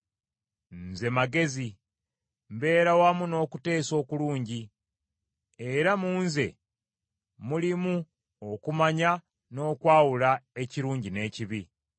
Nze Magezi, mbeera wamu n’okuteesa okulungi, era mu nze mulimu okumanya n’okwawula ekirungi n’ekibi.